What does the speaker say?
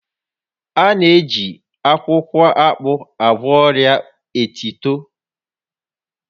A na-eji akwukwo akpu agwọ ọria etito